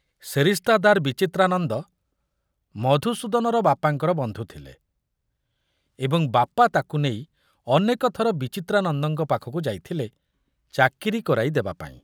ସେରିସ୍ତାଦାର ବିଚିତ୍ରାନନ୍ଦ ମଧୁସୂଦନର ବାପାଙ୍କର ବନ୍ଧୁ ଥିଲେ ଏବଂ ବାପା ତାକୁ ନେଇ ଅନେକ ଥର ବିଚିତ୍ରାନନ୍ଦଙ୍କ ପାଖକୁ ଯାଇଥିଲେ ଚାକିରି କରାଇ ଦେବାପାଇଁ।